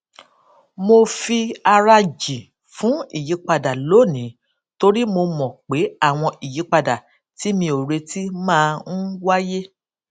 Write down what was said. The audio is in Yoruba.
mò fi ara jì fun ìyípadà lónìí torí mo mò pé àwọn ìyípadà tí mi ò retí máa ń wáyé